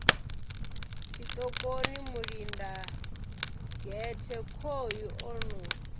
tshiṱokoni mulindagehte khoyu o no